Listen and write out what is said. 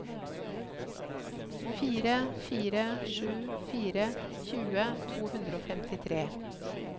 fire fire sju fire tjue to hundre og femtitre